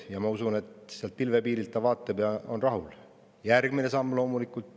Ja ma usun, et sealt pilvepiirilt vaatab ja on rahul.